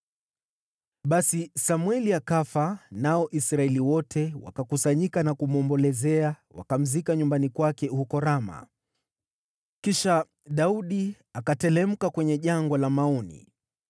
Basi Samweli akafa, nao Israeli wote wakakusanyika na kumwombolezea; wakamzika nyumbani kwake huko Rama. Kisha Daudi akateremka kwenye Jangwa la Maoni.